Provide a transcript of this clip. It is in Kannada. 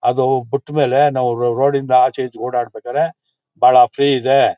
ಅದು ಪುಟ್ಮೇಲೆ ನಾವು ರೋಡ್ ಇಂದ ಆಚೆ ಈಚೆ ಓಡಾಡ್ಬೇಕಾದ್ರೆ ಬಹಳ ಫ್ರೀ ಇದೆ.